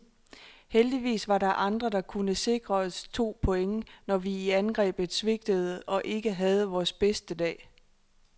Heldigvis var der andre, der kunne sikre os to point, når vi i angrebet svigtede og ikke havde vores bedste dag.